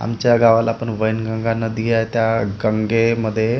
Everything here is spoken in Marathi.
आमच्या गावाला पण वैनगंगा नदी आहे. त्या गंगेमध्ये--